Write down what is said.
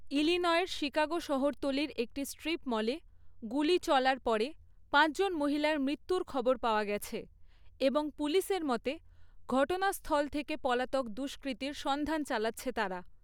ইলিনয়ের Chicago শহরতলির একটি strip মলে গুলি চলার পরে পাঁচজন মহিলার মৃত্যুর খবর পাওয়া গেছে এবং পুলিশের মতে ঘটনাস্থল থেকে পলাতক দুষ্কৃতীর সন্ধান চালাচ্ছে তারা।